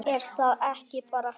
Er það ekki bara fínt?